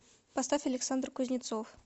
поставь александр кузнецов